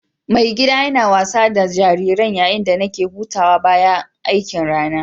Mai gida na yana wasa da jariran yayin da nake hutawa bayan aikin ranan.